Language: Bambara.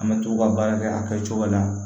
An bɛ to ka baara kɛ a kɛcogo la